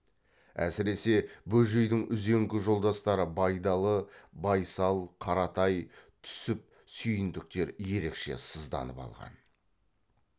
әсіресе бөжейдің үзеңгі жолдастары байдалы байсал қаратай түсіп сүйіндіктер ерекше сызданып алған